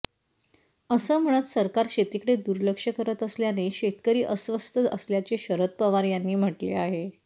असं म्हणत सरकार शेतीकडे दुर्लक्ष करत असल्याने शेतकरी अस्वस्थ असल्याचे शरद पवार यांनी म्हटले आहे